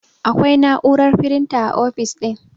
Akwai na'urar firinta a ofis ɗin